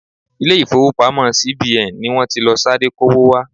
Ilé ifowopamo ti CBN ni wọ́n ti lọ sáré kó'wó wá.